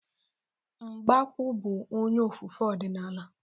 Mgbokwo bụ onye ofufe ọdịnala.